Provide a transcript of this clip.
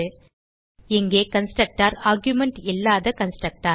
இங்கே constructor argument இல்லாத constructor